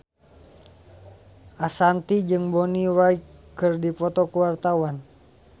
Ashanti jeung Bonnie Wright keur dipoto ku wartawan